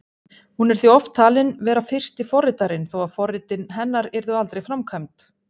Hún er því oft talin vera fyrsti forritarinn, þó að forritin hennar yrðu aldrei framkvæmd.